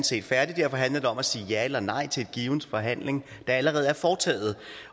set færdig og derfor handler det om at sige ja eller nej til en given forhandling der allerede er foretaget